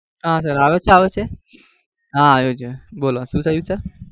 હા સર આવે છે આવે છે? હા આવે છે બોલો શું થયું sir?